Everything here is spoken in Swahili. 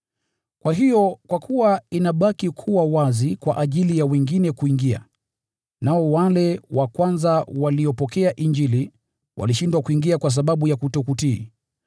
Kwa hiyo inabaki kuwa wazi kwa wengine kuingia, nao wale wa kwanza waliopokea Injili walishindwa kuingia kwa sababu ya kutokutii.